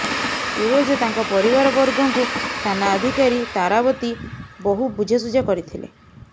ସୁରଜ ଓ ତାଙ୍କ ପରିବାରବର୍ଗଙ୍କୁ ଥାନା ଅଧିକାରୀ ତାରାବତୀ ବହୁ ବୁଝାସୁଝା କରିଥିଲେ